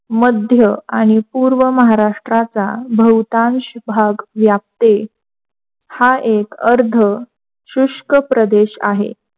मध्य आणि पूर्व महाराष्ट्राचा बहुतांश भाग व्यापते हा एक अर्ध शुष्क प्रदेश आहे.